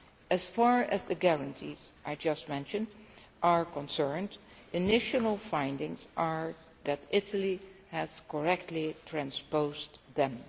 As far as the guarantees I just mentioned are concerned, initial findings are that Italy has correctly transposed them.